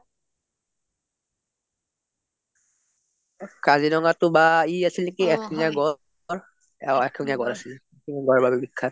কাজিৰঙা টো বা ই আছে নেকি এক শিং য়া গড় অ এক শিং য়া গড়ৰ বাবে বিখ্যাত